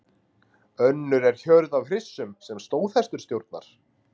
Önnur er hjörð af hryssum sem stóðhestur stjórnar.